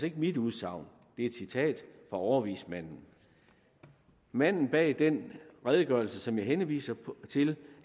ikke mit udsagn det er et citat fra overvismanden manden bag den redegørelse som jeg henviser til